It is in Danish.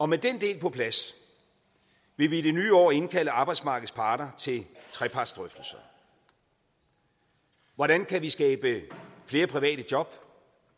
med den del på plads vil vi i det nye år indkalde arbejdsmarkedets parter til trepartsdrøftelser hvordan kan vi skabe flere private job